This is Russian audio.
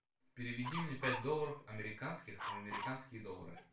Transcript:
переведи мне пять долларов американских в американские доллары